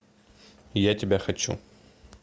я тебя хочу